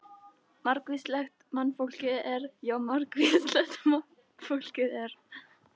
Margvíslegt mannfólkið er, já margvíslegt mannfólkið er.